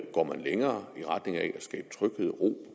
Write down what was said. går længere i retning af at skabe tryghed og ro